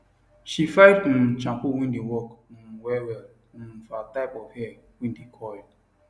she find um shampoo wae dae work um wellwell um for her type of hair wae dae curl